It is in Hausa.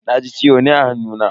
Na ji ciwo ne a hannuna.